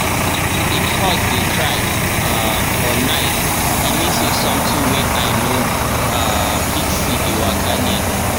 if horse dey cry um for night e mean say something wey eye no um fit see dey waka near.